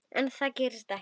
En það gerist ekki.